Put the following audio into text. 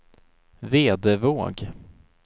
Vedevåg